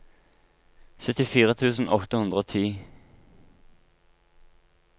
syttifire tusen åtte hundre og ti